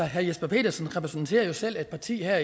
herre jesper petersen repræsenterer selv et parti her